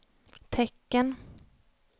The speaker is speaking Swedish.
tecken